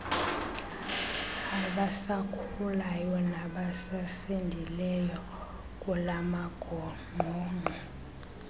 abasakhulayo nabasasindileyo kulamagongqongqo